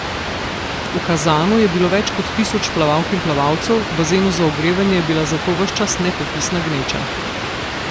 V Kazanu je bilo več kot tisoč plavalk in plavalcev, v bazenu za ogrevanje je bila zato ves čas nepopisna gneča.